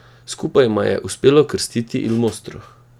Skupaj jima je uspelo krstiti Il Mostro.